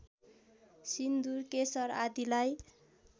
सिन्दूर केशर आदिलाई